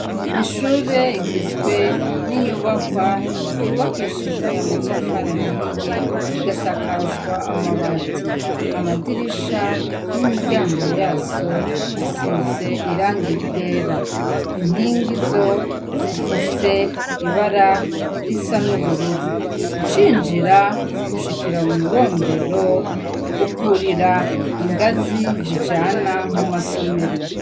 Ishur' igizwe n inyubakwa yubakishijw' amatafar'ahiye, igasakazw' amabati, amadirisha n' imiryango yazo risiz' irangi ryera, inkingi zo zifis' ibara risa n' ubururu ucinjir' ushikira mu marembo ukurir' ingazi zijana mu masomero.